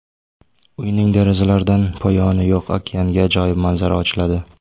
Uyning derazalaridan poyoni yo‘q okeanga ajoyib manzara ochiladi.